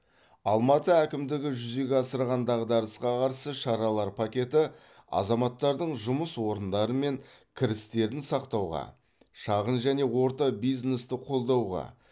алматы әкімдігі жүзеге асырған дағдарысқа қарсы шаралар пакеті азаматтардың жұмыс орындары мен кірістерін сақтауға шағын және орта бизнесті қолдауға